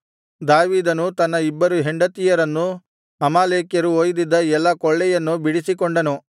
ದಾವೀದನು ತನ್ನ ಇಬ್ಬರು ಹೆಂಡತಿಯರನ್ನೂ ಅಮಾಲೇಕ್ಯರು ಒಯ್ದಿದ್ದ ಎಲ್ಲಾ ಕೊಳ್ಳೆಯನ್ನೂ ಬಿಡಿಸಿಕೊಂಡನು